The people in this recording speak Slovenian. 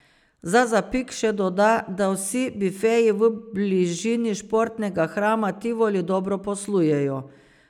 Za zapik še doda, da vsi bifeji v bližini športnega hrama Tivoli dobro poslujejo.